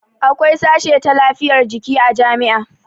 Akwai sashe ta lafiyar jiki a jami'a